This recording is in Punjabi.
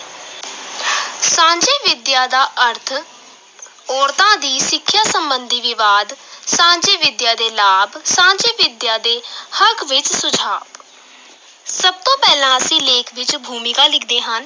ਸਾਂਝੀ ਵਿੱਦਿਆ ਦਾ ਅਰਥ ਔਰਤਾਂ ਦੀ ਸਿੱਖਿਆ ਸੰਬੰਧੀ ਵਿਵਾਦ, ਸਾਂਝੀ ਵਿਦਿਆ ਦੇ ਲਾਭ, ਸਾਂਝੀ ਵਿੱਦਿਆ ਦੇ ਹੱਕ ਵਿੱਚ ਸੁਝਾਅ ਸਭ ਤੋਂ ਪਹਿਲਾਂ ਅਸੀਂ ਲੇਖ ਵਿੱਚ ਭੂਮਿਕਾ ਲਿਖਦੇ ਹਾਂ।